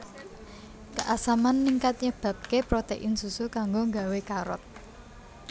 Keasaman ningkat nyebabké protein susu kanggo gawé karot